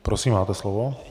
Prosím, máte slovo.